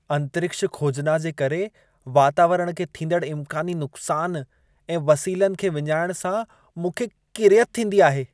अंतरिक्ष खोजना जे करे वातावरण खे थींदड़ इम्कानी नुक़सान ऐं वसीलनि खे विञाइण सां मूंखे किरियत थींदी आहे।